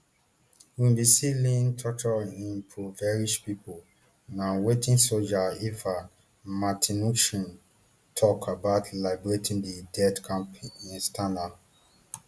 we bin see lean tortured impoverished pipo na wetin soja ivan martynushkin tok about liberating di death camp external